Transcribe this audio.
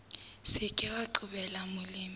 se ke wa qobella molemi